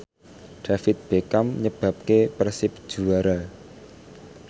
David Beckham nyebabke Persib juara